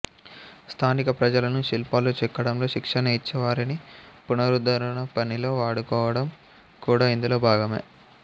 స్థానిక ప్రజలను శిల్పాలు చెక్కడంలో శిక్షణ ఇచ్చి వారిని పునరుద్ధరణ పనిలో వాడుకోవడం కూడా ఇందులో భాగమే